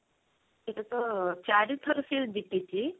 ସେଟା ତ ଚାରି ଥର ସେ ଜିତିଛି